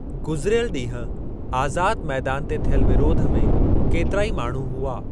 गुज़िरियल ॾींहुं आज़ादु मैदान ते थियल विरोध में केतिरा ई माण्हू हुआ।